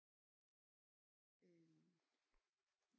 Øh